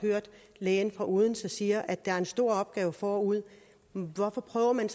lægen fra odense sige at der ligger en stor opgave forude hvorfor prøver man